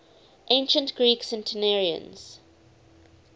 ancient greek centenarians